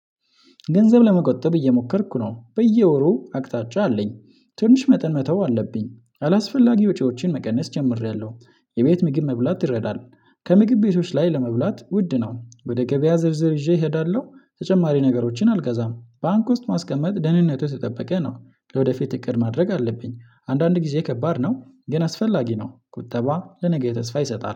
ገንዘብ ለመቆጠብ እየሞከርኩ ነው። በየወሩ አቅጣጫ አለኝ። ትንሽ መጠን መተው አለብኝ። አላስፈላጊ ወጪዎችን መቀነስ ጀምሬያለሁ። የቤት ምግብ መብላት ይረዳል። ከምግብ ቤቶች ላይ ለመብላት ውድ ነው። ወደ ገበያ ዝርዝር ይዤ እሄዳለሁ። ተጨማሪ ነገሮችን አልገዛም። ባንክ ውስጥ ማስቀመጥ ደህንነቱ የተጠበቀ ነው። ለወደፊት እቅድ ማድረግ አለብኝ። አንዳንድ ጊዜ ከባድ ነው፤ ግን አስፈላጊ ነው። ቁጠባ ለነገ ተስፋ ይሰጣል።